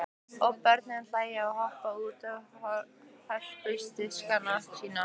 Og börnin hlæja og hoppa út með hörpudiskana sína.